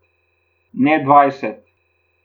Ne dvajset.